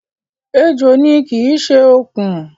Ejò ni, kì í ṣe okùn